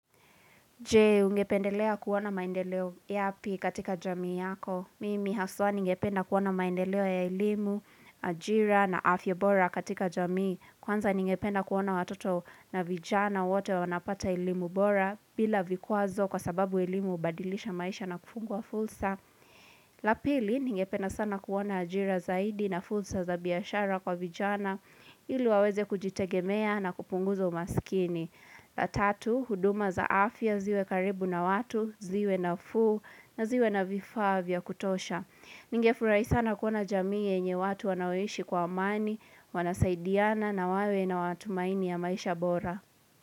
Jee, ungependelea kuona maendeleo yapi katika jamii yako. Mimi haswa ningependa kuona maendeleo ya elimu, ajira na afya bora katika jamii. Kwanza ningependa kuona watoto na vijana wote wanapata elimu bora bila vikwazo kwa sababu elimu hubadilisha maisha na kufungua fulsa. Lapili, ningependa sana kuona ajira zaidi na fulsa za biashara kwa vijana ili waweze kujitegemea na kupunguza umaskini. La tatu, huduma za afya ziwe karibu na watu, ziwe nafuu na ziwe na vifaa vya kutosha. Ninge furahi sana kuona jamii yenye watu wanaoishi kwa amani, wanasaidiana na wawe na matumaini ya maisha bora.